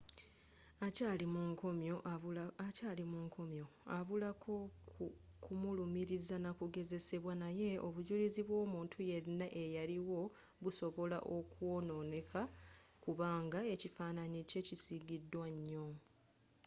akyaali mu nkomyo abulako kumulumiriza nakugezesebwa naye obujulizi bw'omuntu yenna eyaliwo busobola okwonooneka kubanga ekifaananyi kye kisigiddwa nnyo